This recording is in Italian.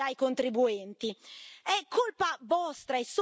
europeista pagata dai contribuenti.